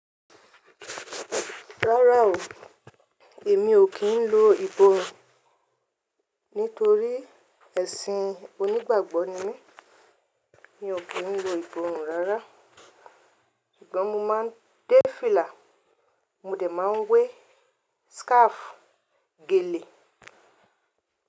Rárá o, èmi ò kí ń lo ìbòòrùn. Nítorí ẹṣin onígbàgbọ́ ni mí, mi ò kí ń lo ìbòòrùn rárá. Ṣùgbọ́n mo máa ń dé fìlà, mo dẹ̀ máa ń wé scarf, gèlè.